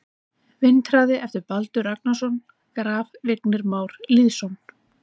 Vindhraði eftir Baldur Ragnarsson Graf: Vignir Már Lýðsson